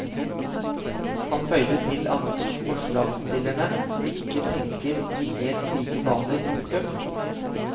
Han føyde til at forslagsstillerne ikke tenker i helt like baner. punktum